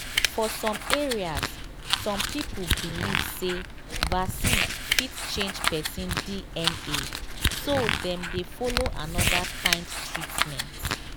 for some areas some people believe say vaccine fit change person dna so dem dey follow another kind treatment.